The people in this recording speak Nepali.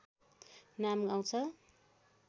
नाम आउँछ